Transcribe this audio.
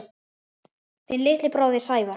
Þinn litli bróðir, Sævar.